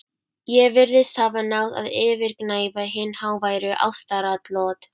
Ég virðist hafa náð að yfirgnæfa hin háværu ástaratlot